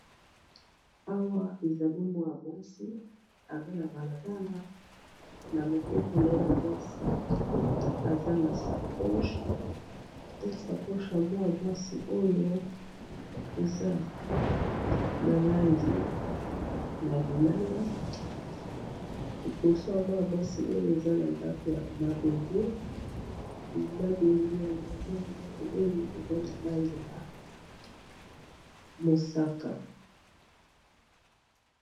Awa ezali mwana mwasi aza na balabala na loboko na ye ya mwasi aza na sakoche ya mwana mwasi oyo eza na langi na lilala eboso ya mwasi oyo eza na ndako ya mabende ya ndako oyo eza na langi na mosaka.